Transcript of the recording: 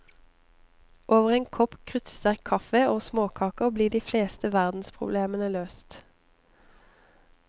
Over en kopp kruttsterk kaffe og småkaker ble de fleste hverdagsproblemene løst.